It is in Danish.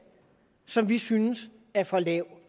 som vi synes er for lav